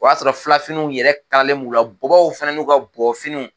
O y'a sɔrɔ filafininiw yɛrɛ kalalen b'u la. Bɔbɔw fana n'u ka bɔbɔfiniw.